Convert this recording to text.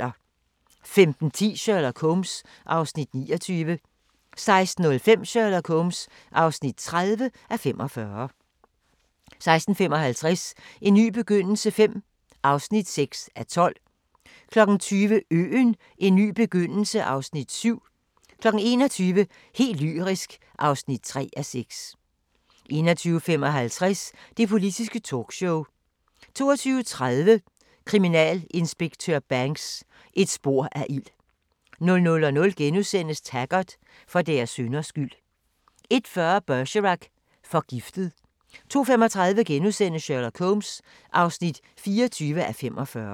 15:10: Sherlock Holmes (29:45) 16:05: Sherlock Holmes (30:45) 16:55: En ny begyndelse V (6:12) 20:00: Øen - en ny begyndelse (Afs. 7) 21:00: Helt lyrisk (3:6) 21:55: Det Politiske Talkshow 22:30: Kriminalinspektør Banks: Et spor af ild 00:00: Taggart: For deres synders skyld * 01:40: Bergerac: Forgiftet 02:35: Sherlock Holmes (24:45)*